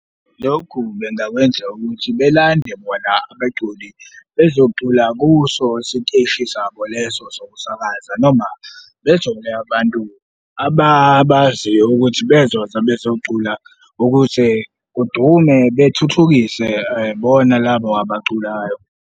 Lokhu bengakwenza ukuthi belande bona abaculi bezocula kuso isiteshi sabo leso sokusakaza noma bethole abantu ababaziyo ukuthi bezoza bezocula ukuze kudume bethuthukise bona labo abaculayo.